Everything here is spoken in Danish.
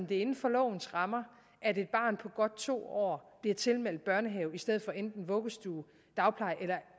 det er inden for lovens rammer at et barn på godt to år bliver tilmeldt børnehave i stedet for enten vuggestue dagpleje eller